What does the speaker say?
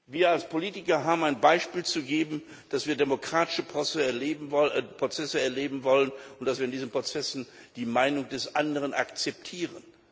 Wir als Politiker haben ein Beispiel zu geben, dass wir demokratische Prozesse erleben wollen, und dass wir in diesen Prozessen die Meinung des Anderen akzeptieren.